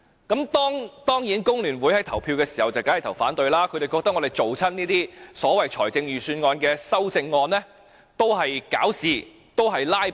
至於工聯會，他們當然是投票反對，因為他們認為我們提出這些所謂預算案修正案志在搞事和"拉布"。